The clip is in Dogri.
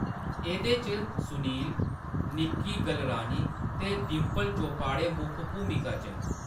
एह्‌‌‌दे च सुनील, निक्की गलरानी ते डिंपल चोपाडे मुक्ख भूमिका च न।